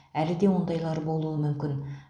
әлі де ондайлар болуы мүмкін